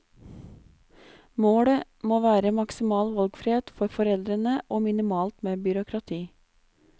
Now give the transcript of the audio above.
Målet må være maksimal valgfrihet for foreldrene, og minimalt med byråkrati.